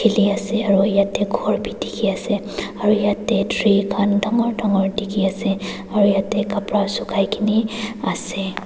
khili ase aru yetey khor bi dikhi ase aru yetey tree khan dangor dangor dikhi ase aru yetey khupara sukai kena ase.